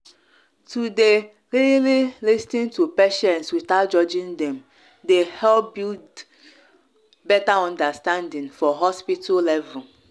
to dey really lis ten to patients without judging dem dey help build better understanding for hospital level.